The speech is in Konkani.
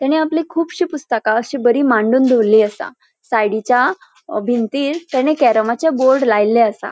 तेणे आपली खूबशीं पुस्तका अशी बरी मांडून दोवरली असा. सायडीच्या भिंतीर तेणे कॅरमाचे बोर्ड लायले असा.